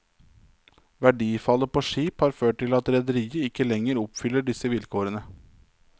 Verdifallet på skip har ført til at rederiet ikke lenger oppfyller disse vilkårene.